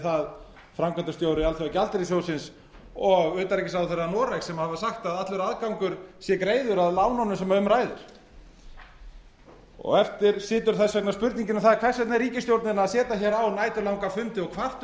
það framkvæmdastjóri alþjóðagjaldeyrissjóðsins og utanríkisráðherra noregs sem hafa sagt að allur aðgangur sé greiður að lánunum sem um ræðir eftir situr þess vegna spurningin um það hvers vegna ríkisstjórnin er að setja á næturlanga fundi og kvarta